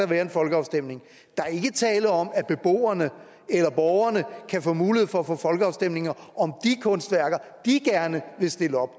være en folkeafstemning der er ikke tale om at beboerne eller borgerne kan få mulighed for at få folkeafstemninger om de kunstværker de gerne vil stille op